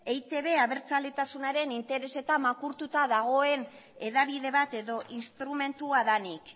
eitb abertzaletasunaren interesetan makurtuta dagoen hedabide bat edo instrumentua denik